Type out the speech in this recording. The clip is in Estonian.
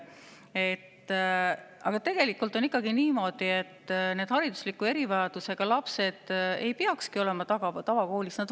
Aga tegelikult on ikkagi niimoodi, et haridusliku erivajadusega lapsed ei peaks olema tavakoolis.